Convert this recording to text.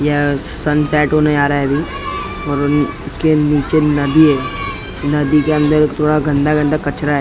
यह सनसेट होने आ रहा है अभी और उन उसके नीचे नदी है नदी के अंदर थोड़ा गंदा गंदा कचरा है अ--